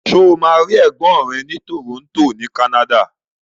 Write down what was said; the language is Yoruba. Ṣo ma rí ègbón rẹ ni Toronto ni Canada?